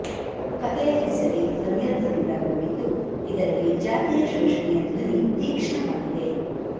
ಕಥೆಯ ಹೆಸರೇ ಧ್ವನ್ಯರ್ಥದಿಂದ ಕೂಡಿದ್ದು ಇದರಲ್ಲಿ ಜಾತಿಯ ಶೋಷಣೆಯ ಧ್ವನಿ ತೀಕ್ಷ್ಣವಾಗಿದೆ